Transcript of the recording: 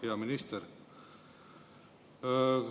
Hea minister!